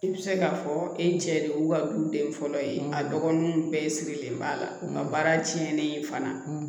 I bɛ se k'a fɔ e cɛ de y'u ka du den fɔlɔ ye a dɔgɔninw bɛɛ sirilen b'a la nka baara tiɲɛnen ye fana